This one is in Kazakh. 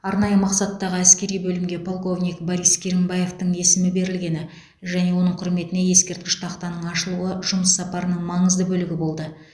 арнайы мақсаттағы әскери бөлімге полковник борис керімбаевтің есімі берілгені және оның құрметіне ескерткіш тақтаның ашылуы жұмыс сапарының маңызды бөлігі болды